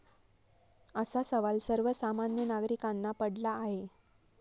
असा सवाल सर्व सामान्य नागरिकांना पडला आहे.